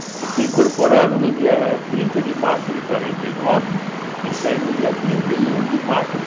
Eu fui incorporado no dia trinta de março de quarenta e nove e saí no dia trinta e um de março de